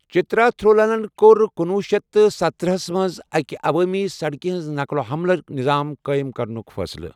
چترا تھرونلَن کوٚر کُنوُہ شیتھ تہٕ ستٔتٕرہس منٛز اَکہِ عوٲمی سڑکہِ ہٕنٛز نقل و حملٕچ نظام قٲیِم کرنُکھ فٲصلہٕ۔